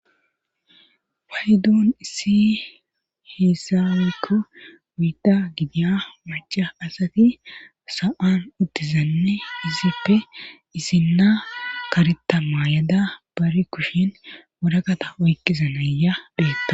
Paydon issi heeza woykko oyda gidiya macca asati sa7an uttizanneizipoe issinna karetta mayo Mayada nara kushen waraqasta oykkiza nayiya beettaws